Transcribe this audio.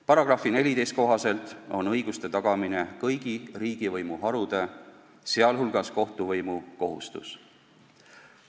Paragrahv 14 kohaselt on õiguste tagamine kõigi riigivõimu harude, sh kohtuvõimu kohustus.